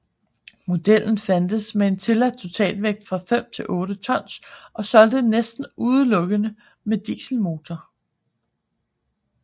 Modellen fandtes med tilladt totalvægt fra 5 til 8 tons og solgtes næsten udelukkende med dieselmotor